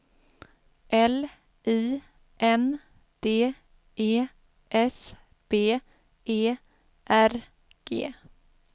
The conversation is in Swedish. L I N D E S B E R G